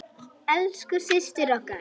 Elsku systir okkar.